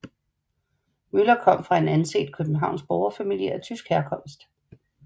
Müller kom fra en anset københavnsk borgerfamilie af tysk herkomst